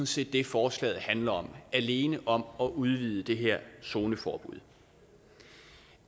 set det forslaget handler om alene om at udvide det her zoneforbud